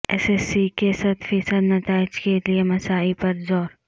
S S C کے صد فیصد نتائج کیلئے مساعی پر زور